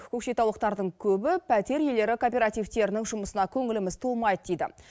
көкшетаулықтардың көбі пәтер иелері кооперативтерінің жұмысына көңіліміз толмайды дейді